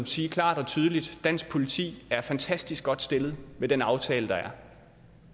sige klart og tydeligt at dansk politi er fantastisk godt stillet med den aftale der